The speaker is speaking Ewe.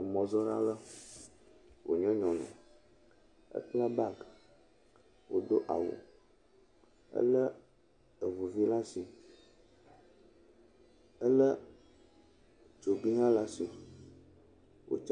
Emɔzɔla ale, wònye nyɔnu, ekpla baagi, wòdo awu, elé eŋuvi laa asi. Elé tsoobi hã la asi. Wòtsa